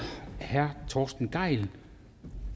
herre torsten gejl